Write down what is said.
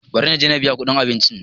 Bari na je na biya kuɗin abincin.